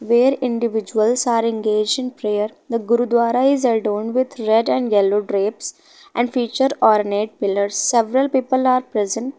Where individuals are engage in prayer. The gurdwara is adon with red and yellow drapes and feature pillars. Several people are present.